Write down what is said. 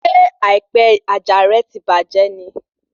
Ṣé àìpẹ àjà rẹ ti bàjẹ́ ni?